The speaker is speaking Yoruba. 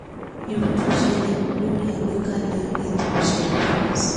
ìrújú ṣẹlẹ̀ lórí àgbékalẹ̀ ètò òṣèlú france